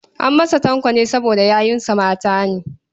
An masa Tanko ne saboda yayunsa mata ne.